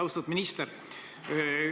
Austatud minister!